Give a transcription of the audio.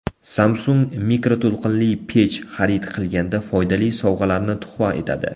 Samsung mikroto‘lqinli pech xarid qilganda foydali sovg‘alarni tuhfa etadi.